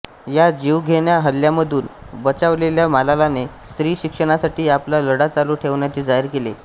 ह्या जीवघेण्या हल्ल्यामधून बचावलेल्या मलालाने स्त्री शिक्षणासाठी आपला लढा चालू ठेवण्याचे जाहीर केले